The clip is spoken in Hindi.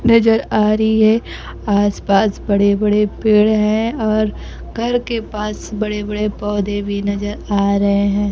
नजर आ री है आस-पास बड़े-बड़े पेड़ हैं और घर के पास बड़े-बड़े पौधे भी नजर आ रहे हैं।